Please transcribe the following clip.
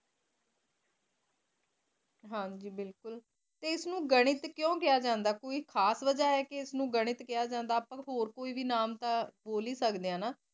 ਹਨ ਜੀ ਬਿਲਕੁਲ ਟੀ ਅਯਸ ਨੂ ਗਣਿਤ ਕ੍ਯਾ ਕੁੰ ਕ੍ਯਾ ਜਾਂਦਾ ਕੋਈ ਖਾਸ ਵਾਜਾ ਆਏ ਕੀ ਇਸ ਨੂ ਗਣਿਤ ਕ੍ਯਾ ਜਾਂਦਾ ਅਪਾ ਹੋਰ ਕੋਈ ਨਾਮ ਤਾ ਬੋਲ ਹੀ ਸਕ ਦੇ ਆ ਹਾਨਾ